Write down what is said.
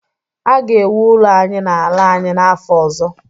a ga-ewu ụlọ anyị n’ala anyị n’afọ ọzọ